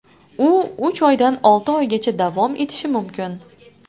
U uch oydan olti oygacha davom etishi mumkin.